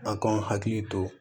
A k'anw hakili to